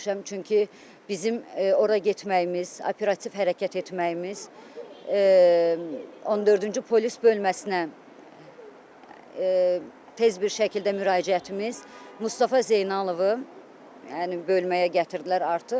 çünki bizim ora getməyimiz, operativ hərəkət etməyimiz, 14-cü polis bölməsinə tez bir şəkildə müraciətimiz Mustafa Zeynalovu, yəni bölməyə gətirdilər artıq.